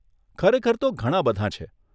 ખરેખર તો ઘણાં બધાં છે.